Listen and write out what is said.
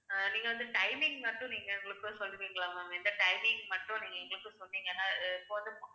அஹ் நீங்க வந்து timing மட்டும் நீங்க எங்களுக்கு சொல்லுவீங்களா ma'am இந்த timing மட்டும் நீங்க எங்களுக்கு சொன்னீங்கன்னா அஹ்